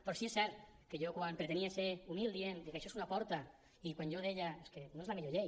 però sí que és cert que jo quan pretenia ser humil dient això és una porta i quan jo deia és que no és la millor llei